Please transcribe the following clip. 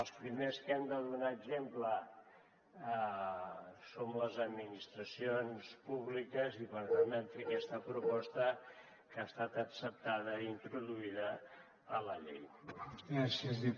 els primers que hem de donar exemple som les administracions públiques i per tant vam fer aquesta proposta que ha estat acceptada i introduïda a la llei